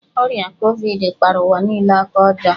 Ọrịa Kovid kpara ụwa niile aka ọjọọ.